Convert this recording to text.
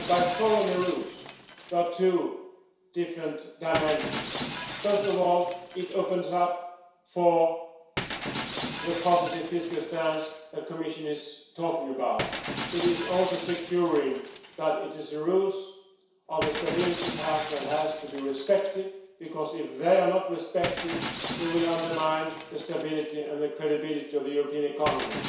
Following the rules entails two different dimensions first of all, it opens the way for the positive fiscal stance the Commission is talking about, and it also ensures that the rules of the Stability Pact must be respected, because if they are not respected we will undermine the stability and the credibility of the European economy.